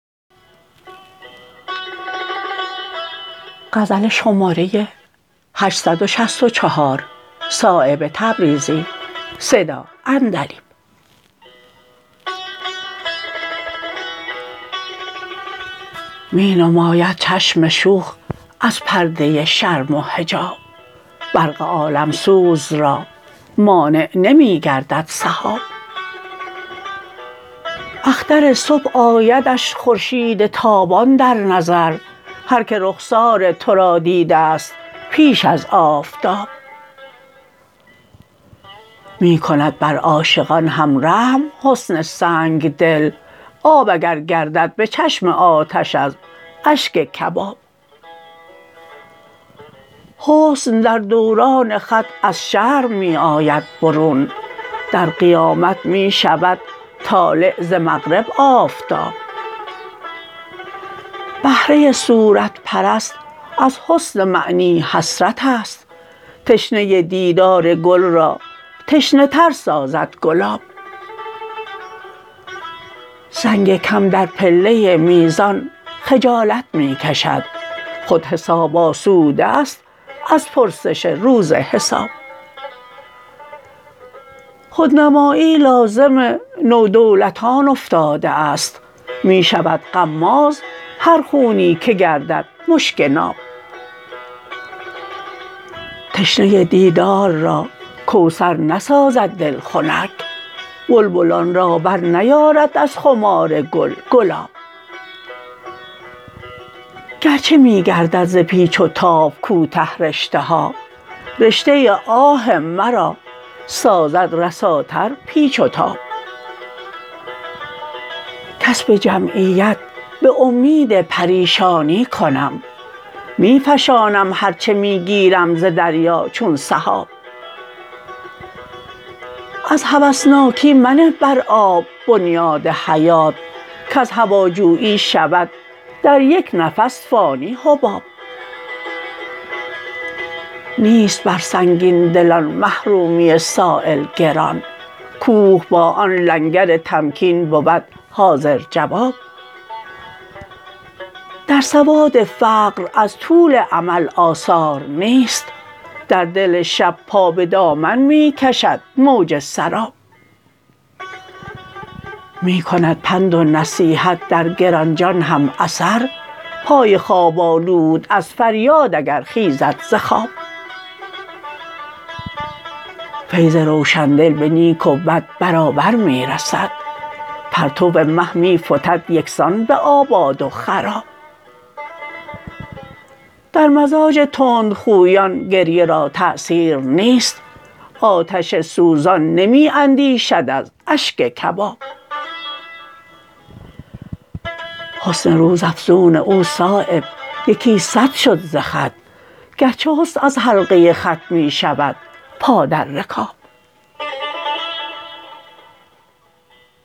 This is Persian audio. می نماید چشم شوخ از پرده شرم و حجاب برق عالمسوز را مانع نمی گردد سحاب اختر صبح آیدش خورشید تابان در نظر هر که رخسار ترا دیده است پیش از آفتاب می کند بر عاشقان هم رحم حسن سنگدل آب اگر گردد به چشم آتش از اشک کباب حسن در دوران خط از شرم می آید برون در قیامت می شود طالع ز مغرب آفتاب بهره صورت پرست از حسن معنی حسرت است تشنه دیدار گل را تشنه تر سازد گلاب سنگ کم در پله میزان خجالت می کشد خود حساب آسوده است از پرسش روز حساب خودنمایی لازم نودولتان افتاده است می شود غماز هر خونی که گردد مشک ناب تشنه دیدار را کوثر نسازد دل خنک بلبلان را برنیارد از خمار گل گلاب گرچه می گردد ز پیچ و تاب کوته رشته ها رشته آه مرا سازد رساتر پیچ و تاب کسب جمعیت به امید پریشانی کنم می فشانم هر چه می گیرم ز دریا چون سحاب از هوسناکی منه بر آب بنیاد حیات کز هواجویی شود در یک نفس فانی حباب نیست بر سنگین دلان محرومی سایل گران کوه با آن لنگر تمکین بود حاضر جواب در سواد فقر از طول امل آثار نیست در دل شب پا به دامن می کشد موج سراب می کند پند و نصیحت در گرانجان هم اثر پای خواب آلود از فریاد اگر خیزد ز خواب فیض روشندل به نیک و بد برابر می رسد پرتو مه می فتد یکسان به آباد و خراب در مزاج تندخویان گریه را تأثیر نیست آتش سوزان نمی اندیشد از اشک کباب حسن روز افزون او صایب یکی صد شد ز خط گرچه حسن از حلقه خط می شود پا در رکاب